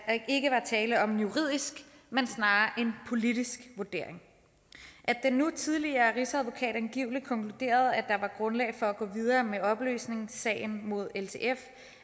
ikke var tale om en juridisk men snarere en politisk vurdering at den nu tidligere rigsadvokat angiveligt konkluderede at der var grundlag for at gå videre med opløsningssagen mod ltf